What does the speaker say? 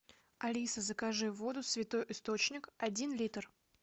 алиса закажи воду святой источник один литр